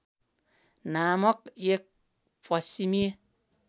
नामक एक पश्चिमी